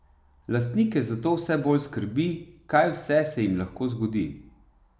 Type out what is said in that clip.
Lastnike zato vse bolj skrbi, kaj vse se jim lahko zgodi.